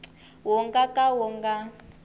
wu nga ka wu nga